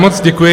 Moc děkuji.